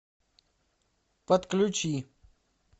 подключи